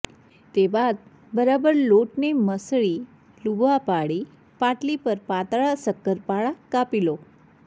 તે બાદ બરાબર લોટને મસળી લુવા પાડી પાટલી પર પાતળા સક્કરપારા કાપી લો